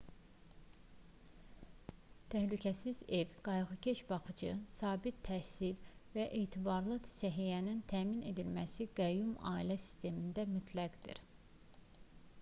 təhlükəsiz ev qayğıkeş baxıcı sabit təhsil və etibarlı səhiyyənin təmin edilməsi qəyyum ailə sistemində mütləqdir